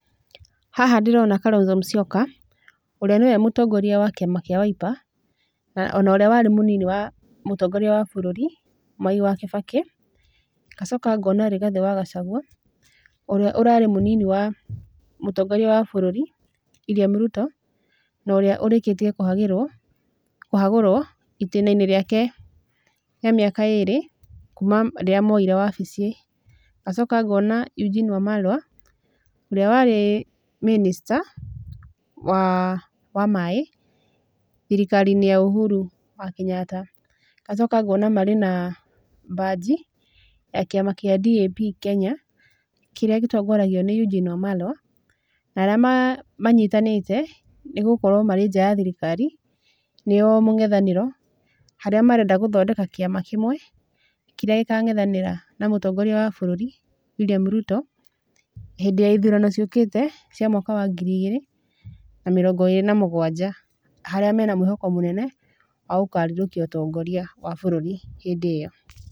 Haha ndĩrona Kalonzo Musyoka, ũrĩa nĩwe mũtongoria wa kiama kia Wiper, na onorĩa warĩ mũnini wa, mũtongoria wa bũrũri, Mwai wa Kibaki, ngacoka ngona Rigathi wa Gacagua, ũrĩa ũrarĩ mũnini wa, mũtongoria wa bũrũri, William Ruto, na ũrĩa ũrĩkĩtie, kũhagĩrũo, kũhagũrũo, itĩnainĩ rĩake rĩa miaka ĩrĩ, kuma rĩrĩa moire wabici, ngacoka ngona Eugene Wamalwa, ũrĩa warĩ, Minister, wa, wa maĩ, thirikarinĩ ya Uhuru wa Kĩnyatta. Ngacoka ngona marĩ na, baji ya kĩama kĩa DAP Kenya, kĩrĩa gĩtongoragio nĩ Eugene Wamalwa, na arĩa, manyitanĩte, nĩgũkorũo marĩ nja ya thirikari, nĩo mũng'ethanĩro, harĩa marenda gũthondeka kĩama kĩmwe, kĩrĩa gĩkang'ethanĩra na mũtongoria wa bũrũri, William Ruto, hĩndĩ ya ithurano ciũkĩte, cia mwaka wa ngiri igĩrĩ, na mĩrongo ĩrĩ na mũgwanja, harĩa mena mwĩhoko mũnene, wa gũkarirũkia ũtongoria wa bũrũri hĩndĩ ĩyo.